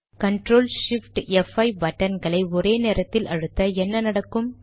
CTRL SHIFT ப்5 பட்டன்களை ஒரே நேரத்தில் அழுத்த என்ன நடக்கும்